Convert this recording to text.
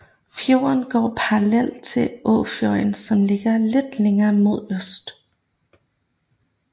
Fjorden går parallelt til Åfjorden som ligger lidt længere mod øst